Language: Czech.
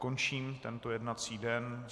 Končím tento jednací den.